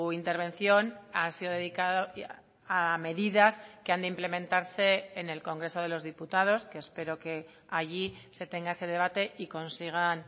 intervención ha sido dedicado a medidas que han de implementarse en el congreso de los diputados que espero que allí se tenga ese debate y consigan